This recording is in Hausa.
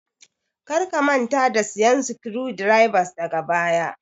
Kar ka manta da siyan screw drivers daga baya